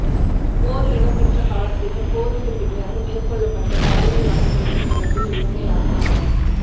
போர் இடம்பெற்ற காலத்திலும் போருக்கு பின்னரும் மேற்கொள்ளப்பட்ட பாலியல் வன்முறைகள் தொடர்பில் இலங்கை அரசாங்கம்